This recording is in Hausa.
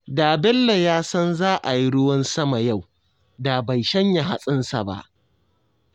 Da Bello ya san za a yi ruwan sama yau, da bai shanya hatsinsa ba